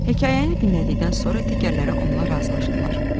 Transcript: Hekayəni dinlədikdən sonra digərləri onunla razılaşdılar.